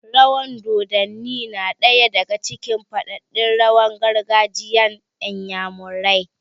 Rawan dodanni na ɗaya daga cikin faɗaɗɗen rawan gargajiyan inyamurai